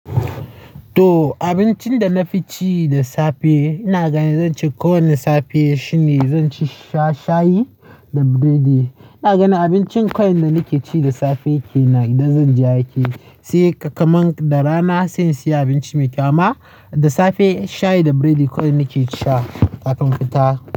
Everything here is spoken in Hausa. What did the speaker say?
To abincin da na fi ci da safe, ina gani zan ce kowane safe shine zan sha shayi da biredi. Ina gani abincin kawai da nake ci da safe kenan idan zan je aiki, sai kakaman da rana sai in siya abinci mai kyama. Da safe shayi da biredi kawai nake sha kafin fita.